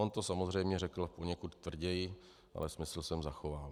On to samozřejmě řekl poněkud tvrději, ale smysl jsem zachoval.